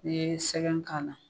N'i ye sɛgɛn k'a la